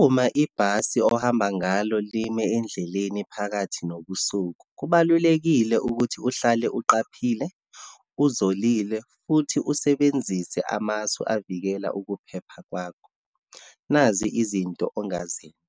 Uma ibhasi ohamba ngalo lime endleleni phakathi nobusuku. Kubalulekile ukuthi uhlale uqaphile, uzolile futhi usebenzise amasu avikela ukuphepha kwakho. Nazi izinto ongazenza,